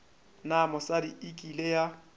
na mosadi e kile ya